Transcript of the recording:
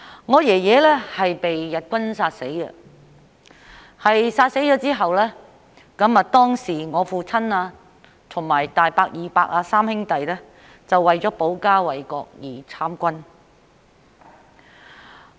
我祖父是被日軍殺死的，在他被殺後，我父親、大伯和二伯三兄弟，當時為了保家衞國而參軍。